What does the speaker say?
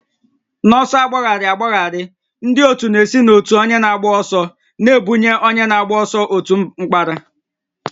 N'ọsọ agbagharị agbagharị, ndị otu na-esi n'otu onye na-agba ọsọ na-ebunye onye na-agba ọsọ otu mkpara